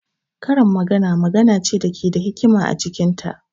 Karin magana magana ce da ke da hikima a cikin ta.